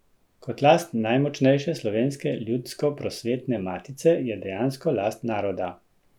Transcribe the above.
Kot last najmočnejše slovenske ljudsko prosvetne matice je dejansko last naroda.